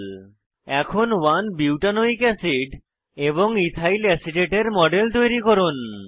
এখন 1 butanoic A C I D 1 butanoic acid এবং ethyl acetate ethyl acetate model তৈরী করুন